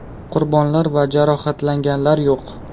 Qurbonlar va jarohatlanganlar yo‘q.